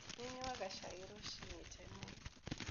Nĩ nyuaga cai rũcinĩ tene.